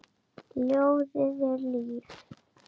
Ljóðið er líf.